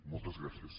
moltes gràcies